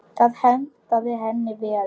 Það hentaði henni vel.